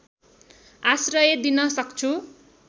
आश्रय दिन सक्छु